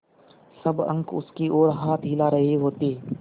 सब अंक उसकी ओर हाथ हिला रहे होते